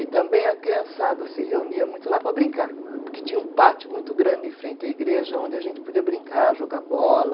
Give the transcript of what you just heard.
E também a criançada se reunia muito lá para brincar, porque tinha um pátio muito grande em frente à igreja, onde a gente podia brincar, jogar bola.